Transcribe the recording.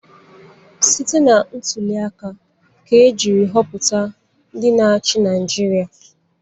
Site na ntuliaka ka e jiri họpụta ndị na-achị Naịjirịa.